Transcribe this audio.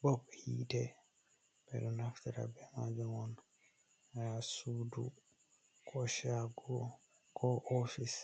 Bob hite: Ɓeɗo naftara be majum on ha sudu, ko shago, ko ofise